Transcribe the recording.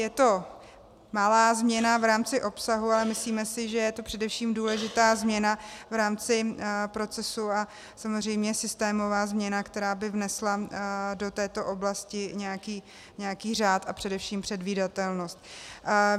Je to malá změna v rámci obsahu, ale myslíme si, že je to především důležitá změna v rámci procesu a samozřejmě systémová změna, která by vnesla do této oblasti nějaký řád a především předvídatelnost.